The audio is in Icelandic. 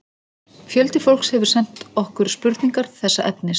Fjöldi fólks hefur sent okkur spurningar þessa efnis.